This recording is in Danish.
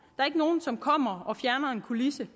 er ikke nogen som kommer og fjerner en kulisse